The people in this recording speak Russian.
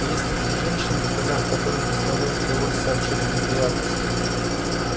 есть такие женщины в годах которым доставляет удовольствие сообщать о неприятностях